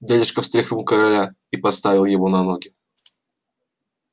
дядюшка встряхнул короля и поставил его на ноги